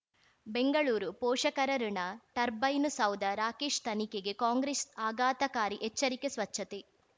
ಬೆಂಗಳೂರು ಪೋಷಕರಋಣ ಟರ್ಬೈನು ಸೌಧ ರಾಕೇಶ್ ತನಿಖೆಗೆ ಕಾಂಗ್ರೆಸ್ ಆಘಾತಕಾರಿ ಎಚ್ಚರಿಕೆ ಸ್ವಚ್ಛತೆ